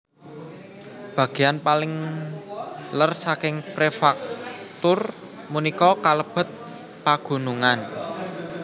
Bagéyan paling lèr saking prefektur punika kalebet pagunungan